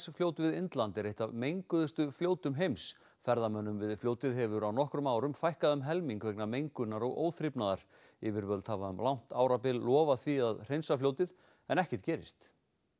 fljót við Indland er eitt af menguðustu fljótum heims ferðamönnum við fljótið hefur á nokkrum árum fækkað um helming vegna mengunar og óþrifnaðar yfirvöld hafa um langt árabil lofað því að hreinsa fljótið en ekkert gerist